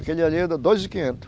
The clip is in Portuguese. Aquele ali eu dou dois e quinhentos.